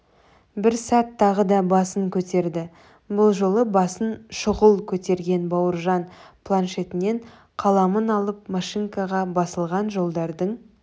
бір сәт тағы да басын көтерді бұл жолы басын шұғыл көтерген бауыржан планшетінен қаламын алып машинкаға басылған жолдардың